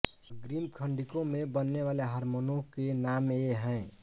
अग्रिम खंडिका में बनने वाले हारमोनों के नाम ये हैं